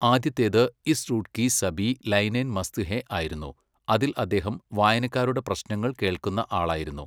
ആദ്യത്തേത് ഇസ് റൂട്ട് കി സബീ ലൈനേൻ മസ്ത് ഹേ ആയിരുന്നു, അതിൽ അദ്ദേഹം വായനക്കാരുടെ പ്രശ്നങ്ങൾ കേൾക്കുന്ന ആളായിരുന്നു.